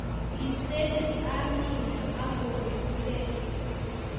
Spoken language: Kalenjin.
Kitebee Amina ako ritrei